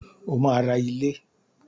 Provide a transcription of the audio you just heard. O máa ra ilé.